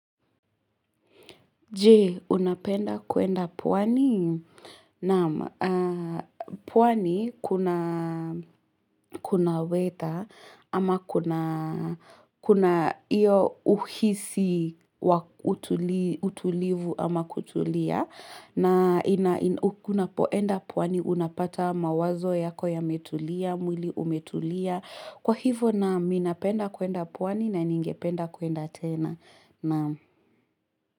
Je, unapenda kuenda pwani? Naam, pwani kuna weta ama kuna iyo uhisi utulivu ama kutulia na unapoenda pwani, unapata mawazo yako yametulia. Mwili umetulia kwa hivyo naam, ninapenda kuenda pwani na ningependa kuenda tena, naam.